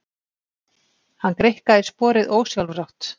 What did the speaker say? Hann greikkaði sporið ósjálfrátt.